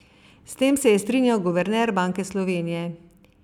S tem se je strinjal guverner Banke Slovenije.